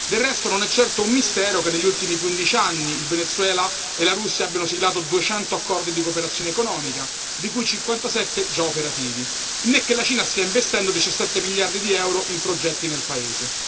Del resto, non è certo un mistero che negli ultimi 15 anni il Venezuela e la Russia abbiano siglato 200 accordi di cooperazione economica, di cui 57 già operativi, né che la Cina stia investendo 17 miliardi di euro in progetti nel paese.